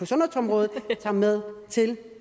sundhedsområdet tager med til